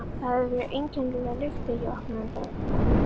Það hafði verið einkennileg lykt þegar ég opnaði.